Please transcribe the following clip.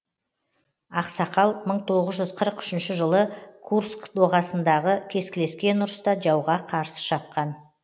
ақсақал мың тоғыз жүз қырық үшінші жылы курск доғасындағы кескілескен ұрыста жауға қарсы шапқан